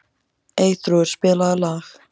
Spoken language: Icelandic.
Eyþrúður, spilaðu lag.